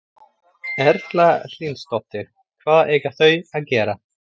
Erla Hlynsdóttir: Hvað eiga þau að gera?